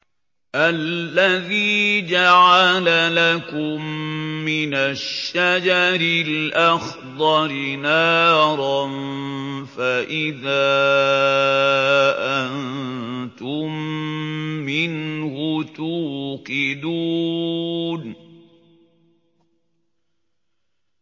الَّذِي جَعَلَ لَكُم مِّنَ الشَّجَرِ الْأَخْضَرِ نَارًا فَإِذَا أَنتُم مِّنْهُ تُوقِدُونَ